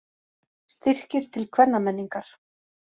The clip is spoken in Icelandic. Styrkir til kvennamenningar